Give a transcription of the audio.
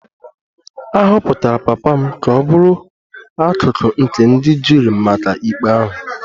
A họpụtara papa m ka ọ bụrụ akụkụ nke ndị juri maka ikpe ahụ